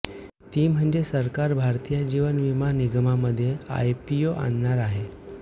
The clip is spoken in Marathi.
ती म्हणजे सरकार भारतीय जीवन बीमा निगममध्ये आयपीओ आणणार आहे